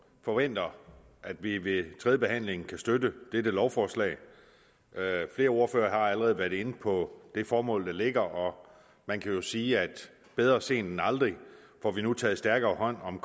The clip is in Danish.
forventer at vi ved tredjebehandlingen kan støtte dette lovforslag flere ordførere har allerede været inde på det formål der ligger og man kan jo sige at bedre sent end aldrig får vi nu taget stærkere hånd om